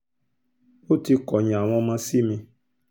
ó ti kọ̀yìn àwọn ọmọ sí mi